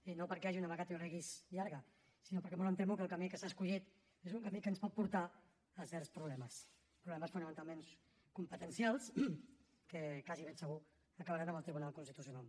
i no perquè hi hagi una vacatio legis llarga sinó perquè molt em temo que el camí que s’ha escollit és un camí que ens pot portar a certs problemes problemes fonamentalment competencials que quasi ben segur acabaran en el tribunal constitucional